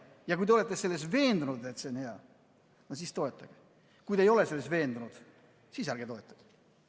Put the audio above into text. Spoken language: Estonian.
Ja kui te olete selles veendunud, et see on hea, siis toetage, aga kui te ei ole selles veendunud, siis ärge toetage.